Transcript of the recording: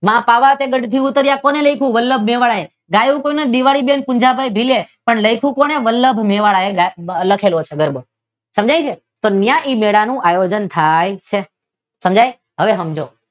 માં પાવા તે ગઢ થી ઉતાર્યા કોને લખ્યું? વલ્લ્ભ મેવાડા એ. ગાયું કોને? દિવાળી બેન પૂંજા ભાઈ ભીલે. લખ્યું કોને વલ્લભ ભાઈ મેવાડા એ લખ્યો હશે ગરબો સમજાય છે તો ત્યાં એ મેળા નો આયોજન થાય છે સમજાય હવે સમજો.